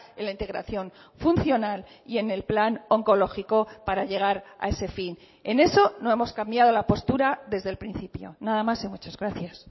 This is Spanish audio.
en la integración funcional y en el plan oncológico para llegar a ese fin en eso no hemos cambiado la postura desde el principio nada más y muchas gracias